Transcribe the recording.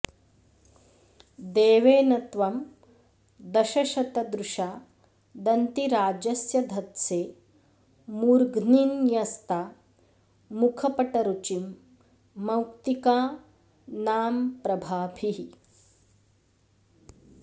देवेन त्वं दशशतदृशा दन्तिराजस्य धत्से मूर्ध्नि न्यस्ता मुखपटरुचिं मौक्तिकानाम्प्रभाभिः